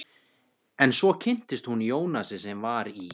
En svo kynntist hún Jónasi sem var í